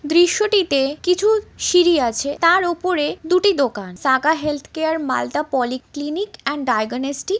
দৃশ্য টিতে কিছু সিঁড়ি আছে তার ওপরে দুটি দোকান Saga health care Malda polyclinic and diagnostic |